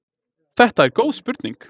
Þetta er góð spurning!